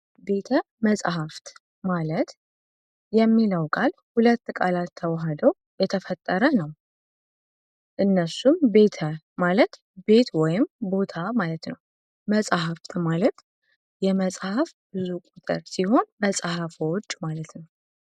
ቤተ መጽሐፍት ማለት የሚለው ቃል ሁለት ቃላት ተዋሃደው የተፈጠረ ነው እነሱም ቤተ ማለት ቤት ወይም ቦታ ማለት ነው። መጽሐፍት ማለት የመጽሐፍ ብዙ ቁጥር ሲሆን መጽሐፍ ዎጅ ማለት ነው።